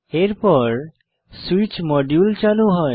এরপর switch module চালু হয়